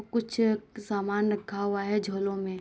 और कुछ सामान रखा हुआ है झोलो में।